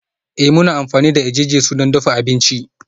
Ee, muna amfani da jini-jesu don dafa abinci